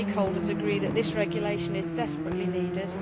All stakeholders agree that this regulation is desperately needed.